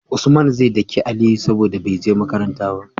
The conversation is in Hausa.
Usman ze daki aliyu saboda beje makaranta ba